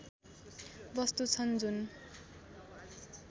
वस्तु छन् जुन